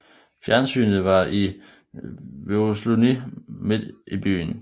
Fjernsynet var i Vørðsluni midt i byen